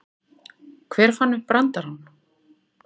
Hver fann upp brandarann?